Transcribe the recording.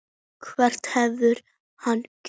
Hverju hefur hann breytt?